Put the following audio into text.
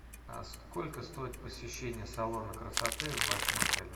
а сколько стоит посещение салона красоты в вашем отеле